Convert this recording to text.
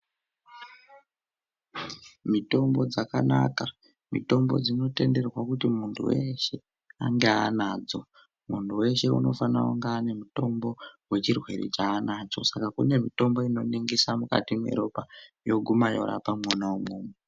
Mitombo dzakanaka mitombo dzinotenderwa kuti muntu weshe Anosisirwa kuti ange ane chirwere chanacho Saka kune mitombo inoningira mukati meropa yoguma yorapa imomo.